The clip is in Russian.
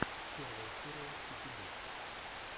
первая серия кики ду